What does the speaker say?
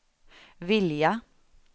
vilja